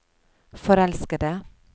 forelskede